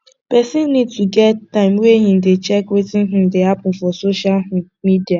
person need to get time wey im dey check wetin um dey happen for social um media